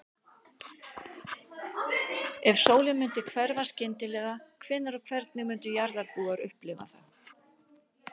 Ef sólin myndi hverfa skyndilega, hvenær og hvernig myndu jarðarbúar upplifa það?